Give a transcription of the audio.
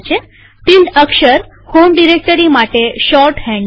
tilde અક્ષર home directory માટે shorthand છે